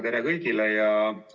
Tere kõigile!